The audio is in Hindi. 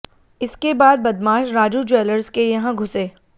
इसके बाद बदमाश राजू ज्वैलर्स के यहां घुसे